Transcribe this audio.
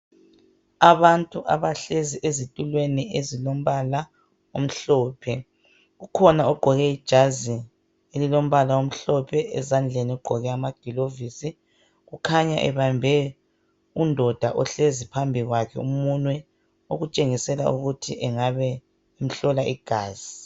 Abantu abahlezi ezitulweni ezilombala omhlophe kukhona ogqoke ijazi elilombala omhlophe , ezandleni ugqoke amagilovisi kukhanya ebambe undoda ohlezi phambi kwakhe umunwe okutshengisela ukuthi engabe ehlola igazi.